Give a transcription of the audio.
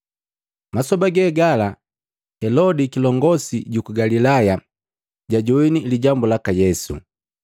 Masoba gegala, Helodi kilongosi juku Galilaya jajoini lijambu laka Yesu.